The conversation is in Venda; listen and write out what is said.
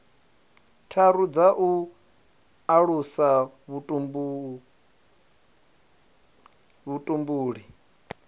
tharu dza u alusa vhutumbuli